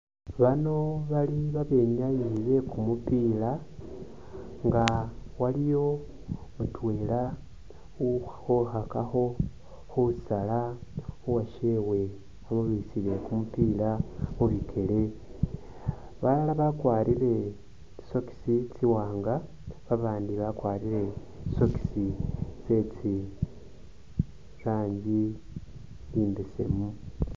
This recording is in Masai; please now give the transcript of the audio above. Bano bali babenyayi bekumupila nga waliyo mutwela ukhukhakakho khusala khuwashewe amubirisile kumupila mubikele, balala bakwarire tsi socks tsiwanga babandi bakwarore tsi socks tsetsi ranji tsimbesemu.